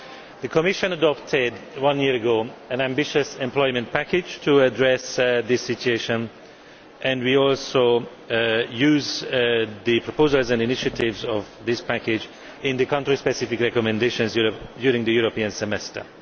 The Commission adopted one year ago an ambitious employment package to address this situation, and we also use the proposals and initiatives of this package in the country specific recommendations during the European Semester.